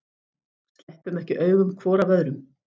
Sleppum ekki augum hvor af öðrum.